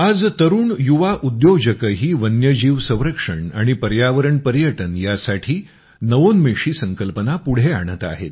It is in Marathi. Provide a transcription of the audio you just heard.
आज युवा उद्योजकही वन्य जीव संरक्षण आणि पर्यावरण पर्यटन यासाठी नवोन्मेषी संकल्पना पुढे आणत आहेत